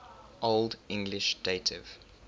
old english dative